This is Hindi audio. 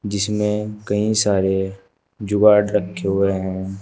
जिसमें कई सारे जुगाड़ रखे हुए हैं।